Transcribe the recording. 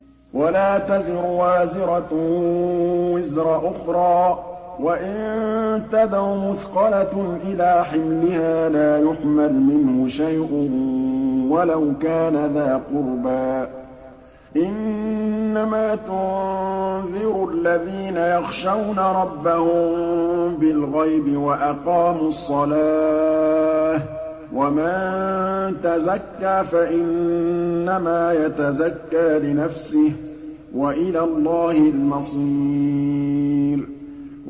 وَلَا تَزِرُ وَازِرَةٌ وِزْرَ أُخْرَىٰ ۚ وَإِن تَدْعُ مُثْقَلَةٌ إِلَىٰ حِمْلِهَا لَا يُحْمَلْ مِنْهُ شَيْءٌ وَلَوْ كَانَ ذَا قُرْبَىٰ ۗ إِنَّمَا تُنذِرُ الَّذِينَ يَخْشَوْنَ رَبَّهُم بِالْغَيْبِ وَأَقَامُوا الصَّلَاةَ ۚ وَمَن تَزَكَّىٰ فَإِنَّمَا يَتَزَكَّىٰ لِنَفْسِهِ ۚ وَإِلَى اللَّهِ الْمَصِيرُ